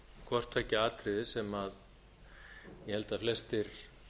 hvort tveggja atriði sem ég held að flestir